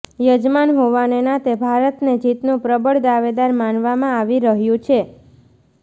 યજમાન હોવાને નાતે ભારતને જીતનું પ્રબળ દાવેદાર માનવામાં આવી રહ્યું છે